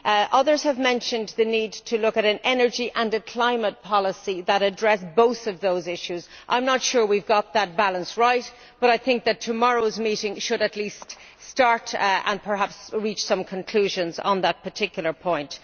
Others have mentioned the need to look at an energy and climate policy that address both those issues. I am not sure we have got that balance right, but I think that tomorrow's meeting should at least start and perhaps reach some conclusions on that particular point.